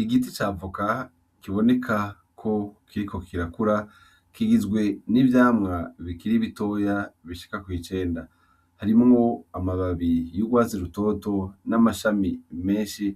Igiti ca voka kiboneka ko kiriko kirakura, kigizwe n'ivyamwa bikiri bitoya bishika kw'icenda, harimwo amababi y'urwatsi rutoto n'amashami menshi